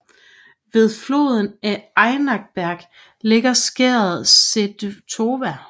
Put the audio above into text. Ved foden af Enniberg ligger skæret Seyðtorva